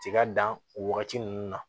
Tiga dan o wagati ninnu na